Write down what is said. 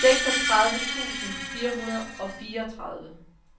seksogtredive tusind fire hundrede og fireogtredive